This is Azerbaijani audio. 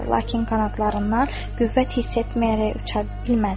Lakin qanadlarında qüvvət hiss etməyərək uça bilmədilər.